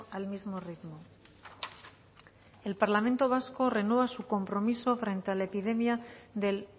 al mismo ritmo el parlamento vasco renueva su compromiso frente a la epidemia del